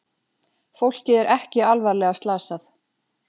Fólkið er ekki alvarlega slasað